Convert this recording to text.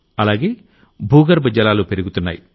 అలాగే భూగర్భజలాలు పెరుగుతున్నాయి